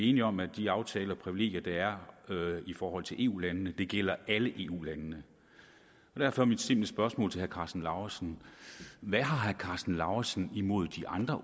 enige om at de aftaler og privilegier der er i forhold til eu landene gælder alle eu landene og derfor er mit simple spørgsmål til herre karsten lauritzen hvad har herre karsten lauritzen imod de andre